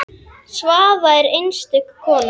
Svava er einstök kona.